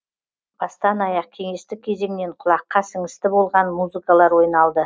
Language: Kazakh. бастан аяқ кеңестік кезеңнен құлаққа сіңісті болған музыкалар ойналды